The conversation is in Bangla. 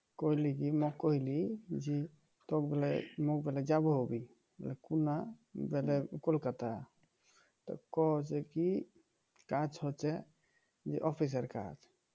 কলকাতা তো কও যে কি কাজ আছে যে অফিসের কাজ